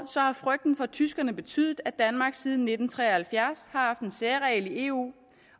har frygten for tyskerne betydet at danmark siden nitten tre og halvfjerds har haft en særregel i eu